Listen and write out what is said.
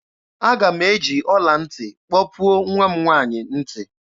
Aga m eji ọla ntị kpọpuo nwa m nwaanyị ntị